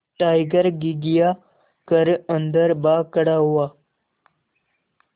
tiger घिघिया कर अन्दर भाग खड़ा हुआ